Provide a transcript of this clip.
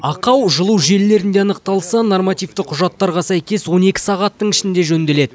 ақау жылу желілерінде анықталса нормативті құжаттарға сәйкес он екі сағаттың ішінде жөнделеді